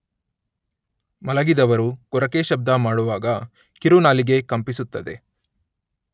ಮಲಗಿದವರು ಗೊರಕೆ ಶಬ್ದ ಮಾಡುವಾಗ ಕಿರುನಾಲಿಗೆ ಕಂಪಿಸುತ್ತದೆ.